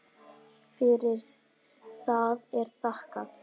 Fyrir það er þakkað.